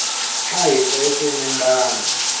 a hi hlayiseni mbango